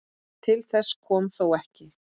Til þess kom þó ekki.